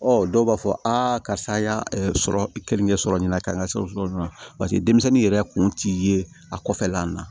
dɔw b'a fɔ a karisa an y'a sɔrɔ keninke sɔrɔ nin na k'an ka sɛbɛn sɔrɔ nin na denmisɛnnin yɛrɛ kun ti ye a kɔfɛla la